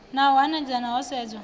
na u hanedzana ho sedzwa